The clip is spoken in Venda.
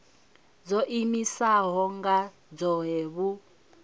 dzo iimisaho nga dzohe vhu